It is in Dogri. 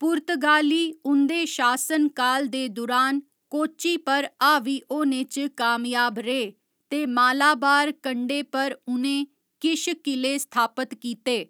पुर्तगाली उं'दे शासनकाल दे दुरान कोच्चि पर हावी होने च कामयाब रेह् ते मालाबार कंढे पर उ'नें किश किले स्थापत कीते।